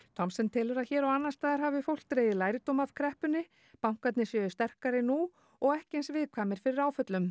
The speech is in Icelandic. Thomsen telur að hér og annars staðar hafi fólk dregið lærdóm af kreppunni bankar séu sterkari nú og ekki eins viðkvæmir fyrir áföllum